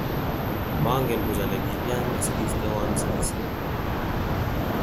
Mongen buch ole kilyan osikistewon sikisyet